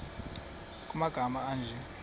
nkr kumagama anje